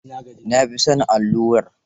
Na fi son allurar.